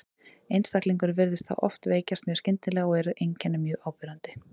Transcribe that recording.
Einstaklingurinn virðist þá oft veikjast mjög skyndilega og eru þá einkennin mjög áberandi.